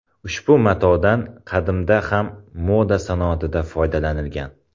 Ushbu matodan qadimda ham moda sanoatida foydalanilgan.